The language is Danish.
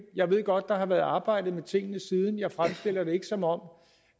jeg ved godt der har været arbejdet med tingene siden jeg fremstiller det ikke som om